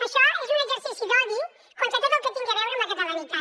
això és un exercici d’odi contra tot el que tingui a veure amb la catalanitat